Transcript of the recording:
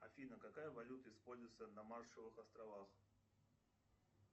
афина какая валюта используется на маршалловых островах